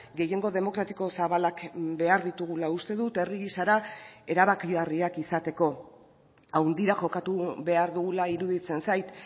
gehiengo demokratiko zabalak behar ditugula uste dut herri gisara erabakigarriak izateko handira jokatu behar dugula iruditzen zait